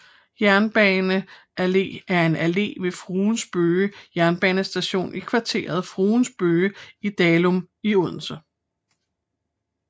Jernbane Allé er en allé ved Fruens Bøge jernbanestation i kvarteret Fruens Bøge i Dalum i Odense